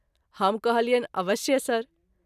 हम कहलियनि अवश्य सर।